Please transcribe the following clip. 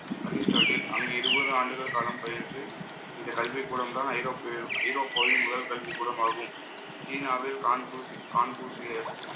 Aristotle அங்கு இருபது ஆண்டுகள் காலம் பயின்று, இந்த கல்விக்கூடம்தான் ஐரோப்பிய~ ஐரோப்பாவின் முதல் கல்விக்கூடமாகும். சீனாவில் கான்புர்சி~ கான்புசியஸ்